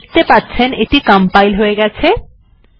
আপনি দেখতে পাচ্ছেন এটি কম্পাইল হয়ে গেছে